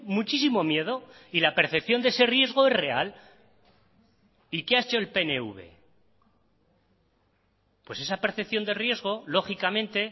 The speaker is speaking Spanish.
muchísimo miedo y la percepción de ese riesgo es real y que ha hecho el pnv pues esa percepción de riesgo lógicamente